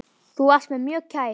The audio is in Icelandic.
Þú varst mér mjög kær.